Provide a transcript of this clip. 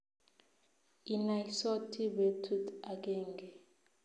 Inaisoti betut agenge